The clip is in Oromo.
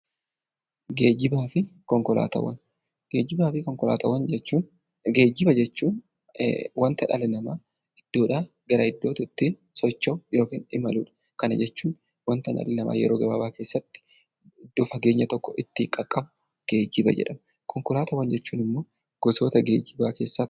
Geejjiba jechuun kan dhalli namaa iddoodhaa iddootti ittiin socho'u kana jechuun wanta namni yeroo gabaabaa keessatti kan fageenya tokko ittiin qaqqabu geejjiba jedhama. Konkolaataawwan jechuun immoo gosoota geejjibaa keessaa tokkodha